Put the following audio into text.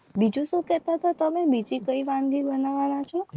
બીજું શું કહેતા હતા તમે વાનગી બનાવવાના છો.